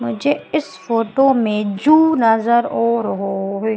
मुझे इस फोटो में जू नजर आ रहा है।